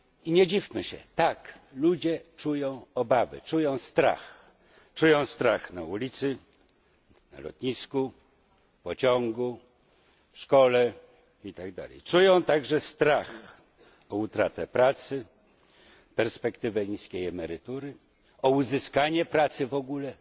Nie dziwmy się, tak, ludzie czują obawy, czują strach, czują strach na ulicy, na lotnisku, w pociągu, w szkole, itd. Czują także strach o utratę pracy, w związku z perspektywą niskiej emerytury, o uzyskanie pracy w ogóle